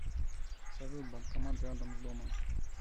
салют банкомат рядом с домом